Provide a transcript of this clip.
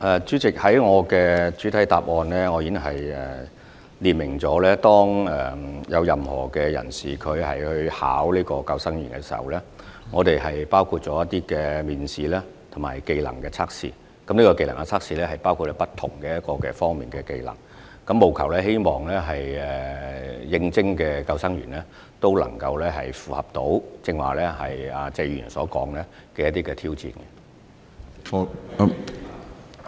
主席，我在主體答覆中已經列明，任何人士投考救生員時，須通過當局的面試及技能測試，而技能測試包括不同方面的技能，務求應徵的救生員可以應付謝議員剛才提到的挑戰。